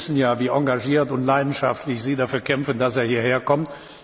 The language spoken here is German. Wir wissen ja, wie engagiert und leidenschaftlich Sie dafür kämpfen, dass er hierher kommt.